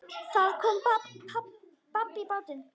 Það kom babb bátinn.